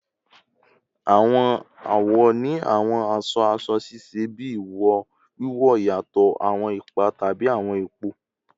Awọn awọ ni awọn aṣọ-aṣọ ṣiṣẹ bi iwo wiwo, iyatọ awọn ipa tabi awọn ipo